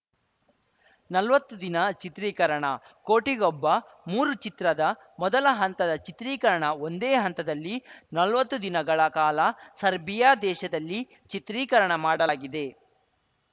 ನಲ್ವತ್ತು ದಿನ ಚಿತ್ರೀಕರಣ ಕೋಟಿಗೊಬ್ಬ ಮೂರು ಚಿತ್ರದ ಮೊದಲ ಹಂತದ ಚಿತ್ರೀಕರಣ ಒಂದೇ ಹಂತದಲ್ಲಿ ನಲ್ವತ್ತು ದಿನಗಳ ಕಾಲ ಸರ್ಬಿಯಾ ದೇಶದಲ್ಲಿ ಚಿತ್ರೀಕರಣ ಮಾಡಲಾಗಿದೆ